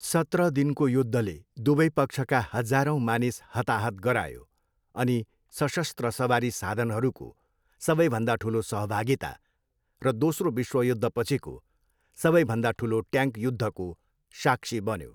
सत्र दिनको युद्धले दुवै पक्षका हजारौंँ मानिस हताहत गरायो अनि सशस्त्र सवारी साधनहरूको सबैभन्दा ठुलो सहभागिता र दोस्रो विश्वयुद्धपछिको सबैभन्दा ठुलो ट्याङ्क युद्धको साक्षी बन्यो।